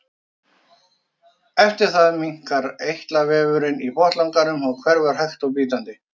eftir það minnkar eitlavefurinn í botnlanganum og hverfur hægt og bítandi